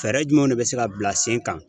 Fɛɛrɛ jumɛnw de bɛ se ka bila sen kan